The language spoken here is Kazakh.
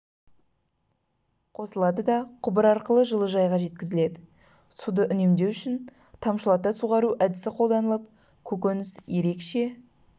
қосылады да құбыр арқылы жылыжайға жеткізіледі суды үнемдеу үшін тамшылата суғару әдісі қолданылып көкөніс ерекше